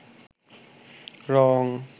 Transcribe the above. রঙ